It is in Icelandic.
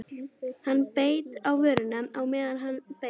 Hann beit á vörina á meðan hann beið.